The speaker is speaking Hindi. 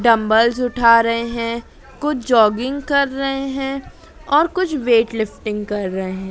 डंबल्स उठा रहे हैं कुछ जॉगिंग कर रहे हैं और कुछ वेट लिफ्टिंग कर रहे हैं।